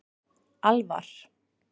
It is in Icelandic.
Alvar